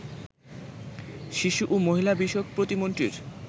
শিশু ও মহিলা বিষয়ক প্রতিমন্ত্রীর